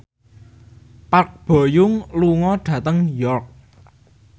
Park Bo Yung lunga dhateng York